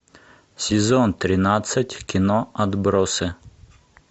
сезон тринадцать кино отбросы